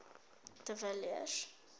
de villiers